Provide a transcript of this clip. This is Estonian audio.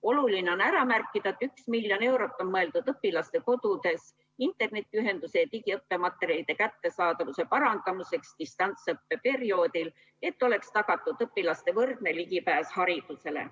Oluline on ära märkida, et 1 miljon eurot on mõeldud õpilaste kodudes internetiühenduse ja digiõppematerjalide kättesaadavuse parandamiseks distantsõppe perioodil, et oleks tagatud õpilaste võrdne ligipääs haridusele.